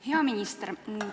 Hea minister!